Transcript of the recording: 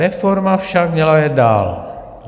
Reforma však měla jet dál.